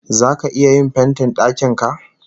Zaka iya yin fentin dakin ka?